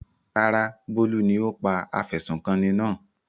Rárá, Bólú ni ó pa afẹ̀sùnkanni náà.